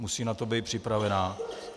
Musí na to být připravena.